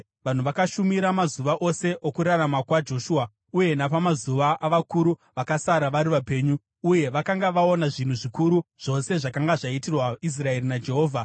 Vanhu vakashumira mazuva ose okurarama kwaJoshua uye napamazuva avakuru vakasara vari vapenyu uye vakanga vaona zvinhu zvikuru zvose zvakanga zvaitirwa Israeri naJehovha.